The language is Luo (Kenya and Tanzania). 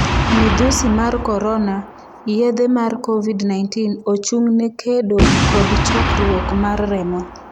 Midhusi mar korona: yedhe mar Covid-19 ochung'ne kedo kod chokruok mar remo